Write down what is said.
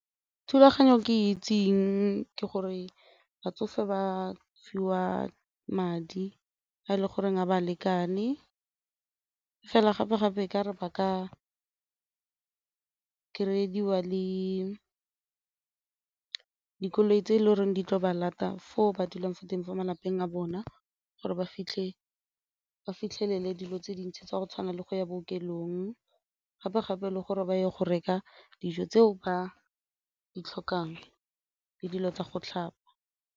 Thulaganyo ke itseng ke gore batsofe ba fiwa madi a e le goreng a ba lekane fela gape-gape e ka re ba ka kry-ediwa le dikoloi tse e le goreng di tlo ba lata foo ba dulang fo teng fo malapeng a bona gore ba fitlhe fitlhelele dilo tse dintsi tsa go tshwana le go ya bookelong, gape-gape le gore ba ye go reka dijo tseo ba di tlhokang le dilo tsa go tlhapa.